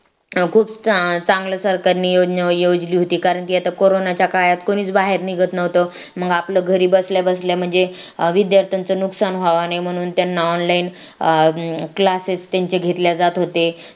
खूप चंगल सरकारनी योजना योजली होती कारण की आता करोनाच्या काळात कोणीच बाहेर निघत नव्हतं मग आपलं घरी बसल्याबसल्या म्हणजे विद्यार्थ्यांचं नुकसान व्हावा नाही म्हणून त्यांना online अं classes त्यांचे घेतल्या जात होते